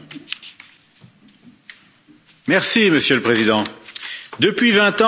Monsieur le Président, depuis vingt ans, la Chine s'est ouverte au commerce international.